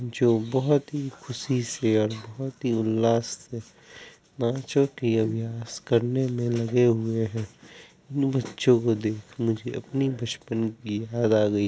जो बहुत ही खुशी से और बहुत ही उल्लास से करने में लगे हुए हैं। इन बच्चों को देख मुझे अपने बचपन की याद आ गई।